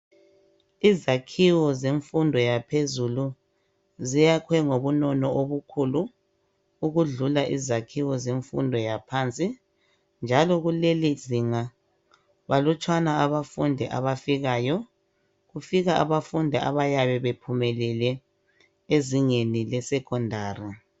Izakhiwo zemfundo yaphezulu ziyakwe ngobunono obukhulu ukudlula izakhiwo zemfundo yaphansi njalo kuleli zinga balutshwana abafundi abafikayo kufika abafundi abayabe bephumelele ezingeni lesekhondari